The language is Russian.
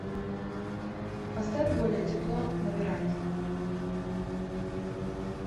поставь более тепло на веранде